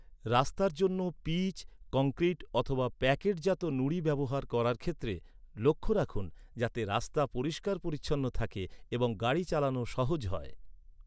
রাস্তার জন্য পিচ, কংক্রিট অথবা প্যাকেটজাত নুড়ি ব্যবহার করার ক্ষেত্রে লক্ষ রাখুন, যাতে রাস্তা পরিষ্কার পরিচ্ছন্ন থাকে এবং গাড়ি চালানো সহজ হয়।